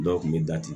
Dɔw kun be dati